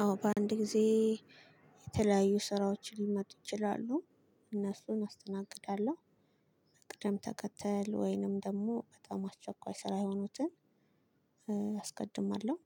አዎ በአንድ ጊዜ የተለያዩ ስራዎችም ሊመጡ ይችላሉ። እነሱን አስተናግዳለሁ በቅደም ተከተል ወይንም ደግሞ በጣም አስቸኳይ ስራ የሆኑትን አስቀድማለሁ።